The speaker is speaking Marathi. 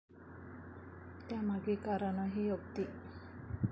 त्यामागे कारणही अगदी.